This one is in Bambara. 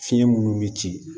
Fiɲɛ minnu bi ci